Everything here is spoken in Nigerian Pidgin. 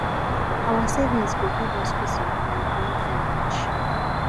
our savings go give us peace of mind when time reach